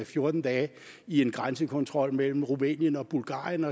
fjorten dage i en grænsekontrol mellem rumænien og bulgarien